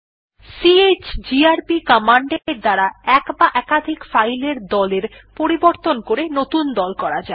chgrp command এর দ্বারা এক বা একাধিক ফাইল এর দল এর পরিবর্তন করে নতুন দল করা যায়